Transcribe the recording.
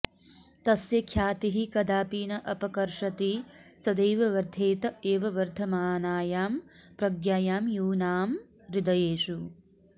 तस्य ख्यातिः कदापि न अपकर्षति सदैव वर्धेत एव वर्धमानायां प्रज्ञायां यूनाम् हृदयेषु